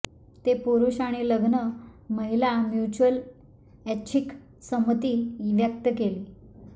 ते पुरुष आणि लग्न महिला म्युच्युअल ऐच्छिक संमती व्यक्त केली